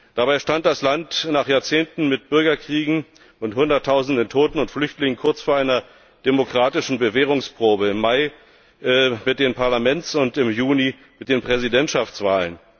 Dabei stand das Land nach Jahrzehnten mit Bürgerkriegen und Hunderttausenden Toten und Flüchtlingen kurz vor einer demokratischen Bewährungsprobe im Mai mit der Parlaments und im Juni mit der Präsidentschaftswahl.